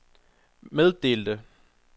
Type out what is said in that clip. meddelte